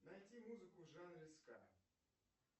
найти музыку в жанре ска